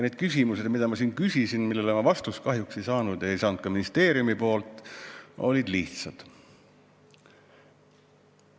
Need küsimused, mida ma siin küsisin ja millele ma kahjuks vastust ei saanud ega saanud ka ministeeriumi käest, olid lihtsad.